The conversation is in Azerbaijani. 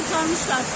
Adamı çıxarmışlar.